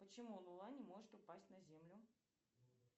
почему луна не может упасть на землю